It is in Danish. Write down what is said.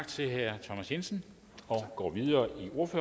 til at gå videre